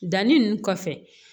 Danni nunnu kɔfɛ